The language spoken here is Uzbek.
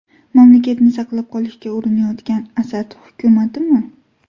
Mamlakatni saqlab qolishga urinayotgan Asad hukumatimi?